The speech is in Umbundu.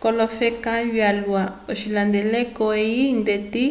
k’olofeka vyalwa l’ocihandeleko eyi ndeti